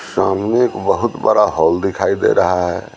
सामने एक बहुत बड़ा हॉल दिखाई दे रहा है।